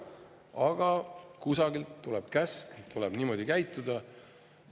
Aga kusagilt tuleb käsk, tuleb niimoodi käituda.